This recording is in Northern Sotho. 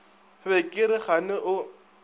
be ke re kgane o